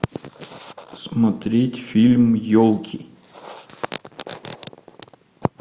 смотреть фильм елки